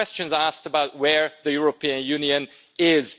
There were questions asked about where the European Union is.